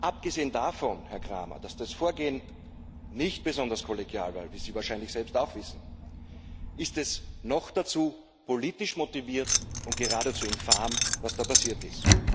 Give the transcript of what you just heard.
Abgesehen davon, Herr Cramer, dass das Vorgehen nicht besonders kollegial war wie sie wahrscheinlich selbst auch wissen ist es noch dazu politisch motiviert und geradezu infam, was da passiert ist.